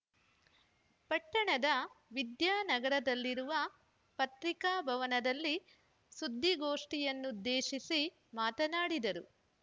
ಪಟ್ಟಣದ ವಿದ್ಯಾನಗರದಲ್ಲಿರುವ ಪತ್ರಿಕಾಭವನದಲ್ಲಿ ಸುದ್ದಿಗೋಷ್ಠಿ ಯನ್ನುದ್ದೇಶಿಸಿ ಮಾತನಾಡಿದರು